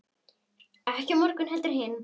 Ekki á morgun heldur hinn.